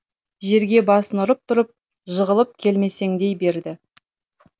жерге басын ұрып тұрып жығылып келмесеңдей берді